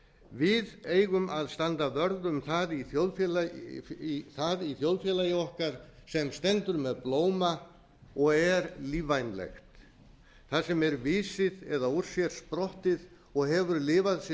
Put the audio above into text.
við eigum að standa vörð um það í þjóðfélagi okkar sem stendur með blóma og er lífvænlegt það sem er visið og úr sér sprottið og hefur lifað sitt